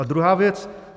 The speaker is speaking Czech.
A druhá věc.